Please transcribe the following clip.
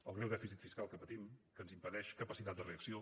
el greu dèficit fiscal que patim que ens impedeix capacitat de reacció